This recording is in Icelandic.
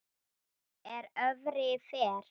er öfri fer